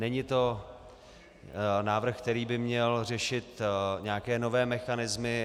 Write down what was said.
Není to návrh, který by měl řešit nějaké nové mechanismy.